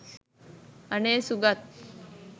අනේ සුගත්